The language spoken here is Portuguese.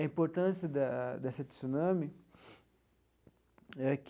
A importância da dessa tsunami é que